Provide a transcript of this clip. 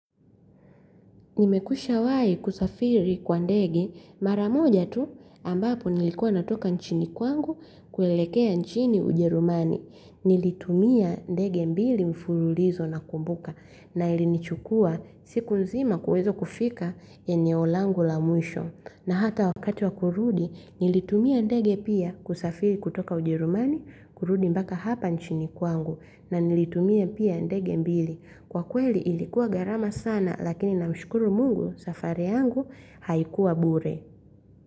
Nimekwisha wahi kusafiri kwa ndege maramoja tu ambapo nilikuwa natoka nchini kwangu kuelekea nchini ujerumani. Nilitumia ndege mbili mfululizo nakumbuka na ilinichukua siku nzima kuweza kufika eneo langu la mwisho. Na hata wakati wa kurudi nilitumia ndege pia kusafiri kutoka ujerumani kurudi mpaka hapa nchini kwangu na nilitumia pia ndege mbili. Kwa kweli ilikuwa gharama sana lakini na mshukuru mungu safari yangu haikuwa bure.